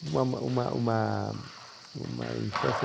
Uma uma uma uma infância